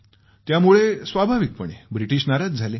त्यामुळं स्वाभाविकपणे ब्रिटिश नाराज झाले